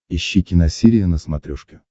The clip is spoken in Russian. ищи киносерия на смотрешке